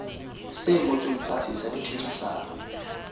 se ngotsweng fatshe sa ditherisano